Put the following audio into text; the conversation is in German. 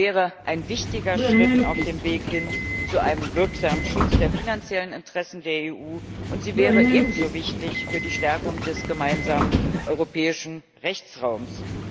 Sie wäre ein wichtiger Schritt auf dem Weg hin zu einem wirksamen Schutz der finanziellen Interessen der EU, und sie wäre ebenso wichtig für die Stärkung des gemeinsamen europäischen Rechtsraums.